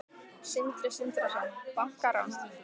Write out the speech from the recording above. Sindri Sindrason: Bankarán?